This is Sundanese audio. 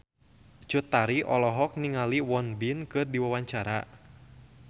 Cut Tari olohok ningali Won Bin keur diwawancara